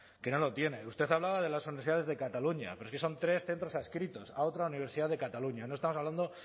que no lo tiene usted hablaba de las universidades de cataluña pero es que son tres centros adscritos a otra universidad de cataluña no estamos hablando